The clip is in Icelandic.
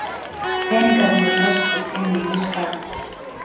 Peningarnir læstir inni í skáp.